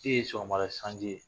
E ye sɔgɔmada sanji ye